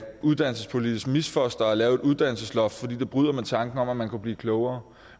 uddannelsespolitisk misfoster at lave et uddannelsesloft fordi det bryder med tanken om at man kunne blive klogere